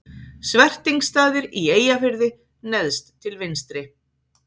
Svertingsstaðir í Eyjafirði neðst til vinstri.